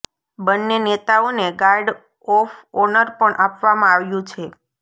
બંન્ને નેતાઓને guard of honour પણ આપવામાં આવ્યું છે